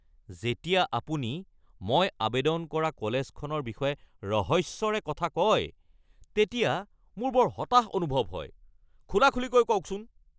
যেতিয়া আপুনি মই আৱেদন কৰা কলেজখনৰ বিষয়ে ৰহস্যৰে কথা কয় তেতিয়া মোৰ বৰ হতাশ অনুভৱ হয়। খুলাখুলিকৈ কওকচোন